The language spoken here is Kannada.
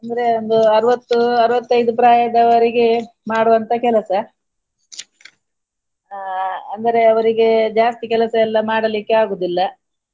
ಅಂದ್ರೆ ಒಂದು ಅರವತ್ತು ಅರವತೈದು ಪ್ರಾಯದವರೆಗೆ ಮಾಡುವಂತಹ ಕೆಲಸ ಆ~ ಅಂದರೆ ಅವರಿಗೆ ಜಾಸ್ತಿ ಕೆಲಸ ಎಲ್ಲಾ ಮಾಡಲಿಕ್ಕೆ ಆಗುದಿಲ್ಲ.